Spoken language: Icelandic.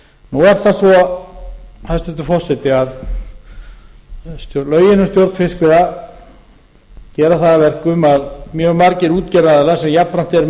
nú er það svo hæstvirtur forseti að lögin um stjórn fiskveiða gera það að verkum að mjög margir útgerðaraðilar sem jafnframt eru með